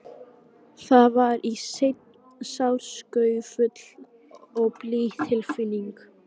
Það var í senn sársaukafull og blíð tilfinning.